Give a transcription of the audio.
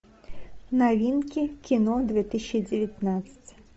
новинки кино две тысячи девятнадцать